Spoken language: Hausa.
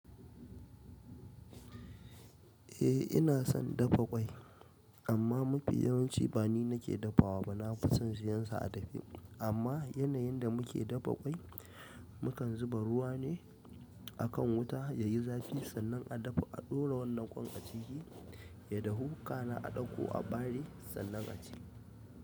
Eh ina son dafa ƙwai amma mafi yawanci ba ni nake dafawa ba, na fi son siyansa a dafe. Amma yanayin da muke dafa ƙwai mukan zuba ruwa ne a kan wuta ya yi zafi sannan a dafa a ɗora wannan ƙwan a ciki ya dahu ka na a ɗauko a bare sannan a ci.